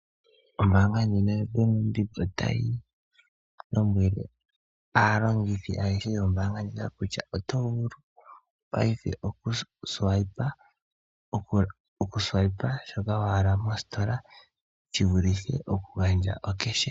Ombaanga ya Bank Windhoek otayi lombwele aalongithi ayehe yo mbaanga ndjika kutya oto vulu paife oku swipe shoka wa hala mositola shi vulithe oku gandja oshimaliwa peke.